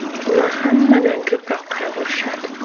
Ular hammadan ko‘proq qayg‘urishadi.